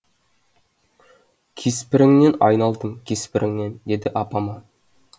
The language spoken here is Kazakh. кеспіріңнен айналдым кеспіріңнен деді апама